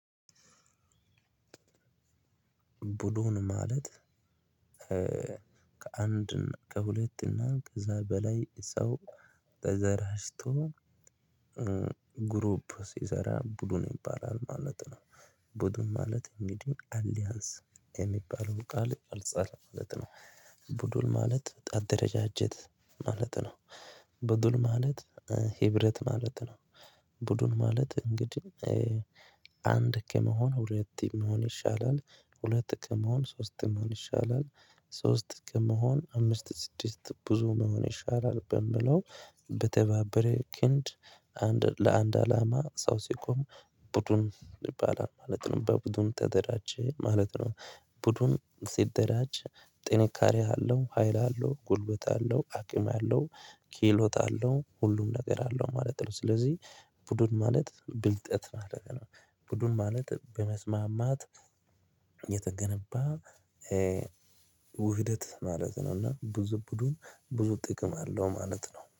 ቡድን ማለት ከአንድ ከሁለት እና ከዛ በላይ ሰው ተደራጅቶ ግሩፕ ሲሰራ ቡድን ይባላል ማለት ነው። ቡድኑ ማለት እንግዲህ አሊያንስ የሚባለው ቃል አልጻል ማለት ነው። ቡድን ማለት አደረጃጀት ማለት ነው። ቡድን ማለት ህብረት ማለት ነው። ቡድን ማለት እንግዲህ አንድ ከመሆን ሁለት ከመሆን ይሻላል። ሁለት ከመሆን ሶስት መሆን ይሻላል። ሶስት ከመሆን አምስት ስድስት ብዙ መሆን ይሻላል በምለው በተባበረ ክንድ አንድ ለአንድ አላማ ሰው ሲቆም ቡድን ይባላል ማለት ነው። በቡድን ተደራጀ ማለት ነው። ቡድን ሲደራጅ ጥንካሬ አለው ሀይል አለው ጉልበት አለው አቅም አለው ክህሎት አለው ሁሉም ነገር አለው ማለት ነው። ስለዚህ ቡድን ማለት ብልጠት ማለት ነው። ቡድን ማለት በመስማማት የተገነባ ውህደት ማለት ነው። እና ብዙ ቡድን ብዙ ጥቅም አለው ማለት ነው